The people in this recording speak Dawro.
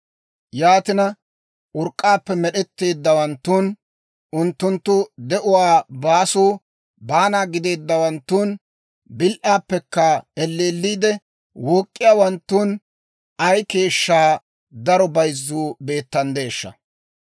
Yaatina, urk'k'aappe med'etteeddawanttun, unttunttu de'uwaa baasuu baanaa gideeddawanttun, bil"aappekka elleelliide wook'k'iyaawanttun ay keeshshaa daro bayzzuu beettanddeeshsha!